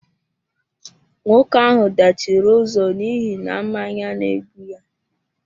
Nwoke ahụ dachiri ụzọ n'ihi na mmanya N'egbu ya